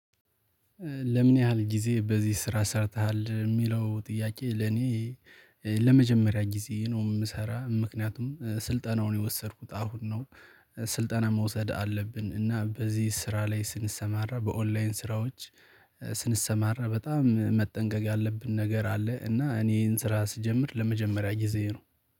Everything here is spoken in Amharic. ለምን ያህል ጊዜ በዚህ ስራ ሰርተሃል የሚለው ጥያቄ? ለኔ ለመጀመሪያ ጊዜ ነው የምሰራው። ምክንያቱም ስልጠናውን የወሰድኩት አሁን ነው። ስልጠና መውሰድ አለብን እና በዚህ ስራ ላይ ስንሰማራ በኦንላይን ስራዎች። ስንሰማራ በጣም መጠንቀቅ ያለብን ነገር አለ። እና እኔ ይሄን ስራ ስጀምር ለመጀመሪያ ጊዜዬ ነው